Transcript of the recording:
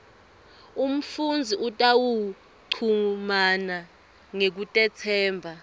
umfundzi utawuchumana ngekutetsemba